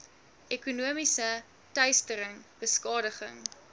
ekonomiese teistering beskadiging